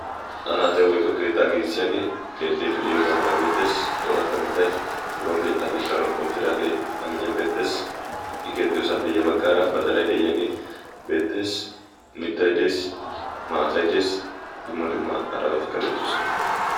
anaaxa woykko keettaa giigissiyaagee keexxiidi de'iyoogaa mala beettees. xooratta mittay biron keettaa keettana qottidaagee amiiyan beetteesi. keexxiyoosaappe ya baggaara badalay de'iyaagee beetteesi mittay deesi maatay dees dumma dumma arabatikka beettoosona